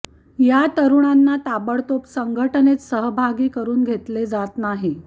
या तरुणांना ताबडतोब संघटनेत सहभागी करून घेतले जात नाही